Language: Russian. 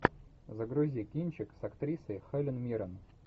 загрузи кинчик с актрисой хелен миррен